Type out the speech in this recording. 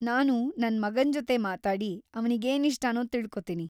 ನಾನು ನನ್ ಮಗನ್‌ ಜೊತೆ ಮಾತಾಡಿ, ಅವ್ನಿಗೇನಿಷ್ಟನೋ ತಿಳ್ಕೊತೀನಿ.